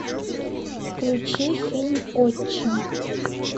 включи фильм отчим